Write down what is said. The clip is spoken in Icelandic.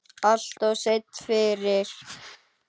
Alltof seinn fyrir.